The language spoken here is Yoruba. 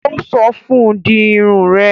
Ó sọ fún un; di Irun rẹ